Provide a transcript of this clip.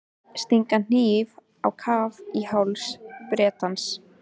Stinga hnífnum á kaf í háls Bretans.